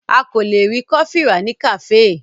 A lè rí kọfí rà ní kàféè.